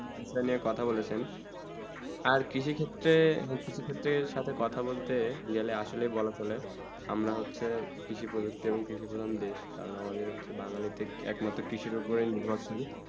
আসলে এ কথা বলেছেন আবার কৃষি ক্ষেত্রে কৃষি ক্ষেত্রে সাথে কথা বলতে গেলে আসলে বলা হলে আমরা হচ্ছেই কিরিসি প্রযুক্তি এবং কৃষিম প্রধান দেশ কারণ আমরা হচ্ছেই বাঙালি থেকে একমাত্র কৃষি উপরে নির্ভর